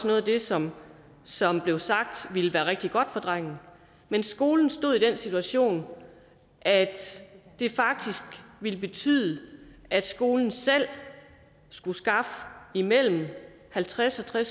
noget af det som som blev sagt ville være rigtig godt for drengen men skolen stod i den situation at det ville betyde at skolen selv skulle skaffe imellem halvtredstusind og